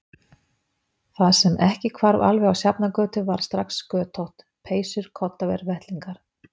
Það sem ekki hvarf alveg á Sjafnargötu varð strax götótt: peysur koddaver vettlingar.